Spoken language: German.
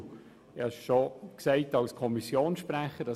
Ich habe es bereits als Kommissionssprecher erwähnt: